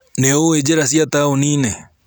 Nĩũĩ njĩra cia taũninĩ?